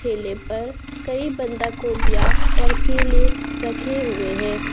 ठेले पर कई बांदा को गोभीया और केले रखे हुए हैं।